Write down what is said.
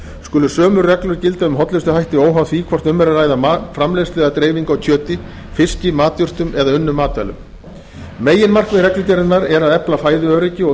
skulu sömu reglur gilda um hollustuhætti óháð því hvort um er að ræða mat framleiðslu eða dreifingu á kjöti fiski matjurtum eða unnum matvælum meginmarkmið reglugerðarinnar er að efla fæðuöryggi og